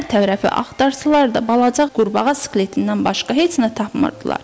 Hər tərəfi axtarsalar da, balaca qurbağa skeletindən başqa heç nə tapmırdılar.